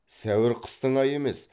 сәуір қыстың айы емес